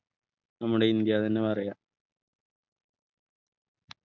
നമ്മുടെ ഇന്ത്യ തന്നെ പറയാം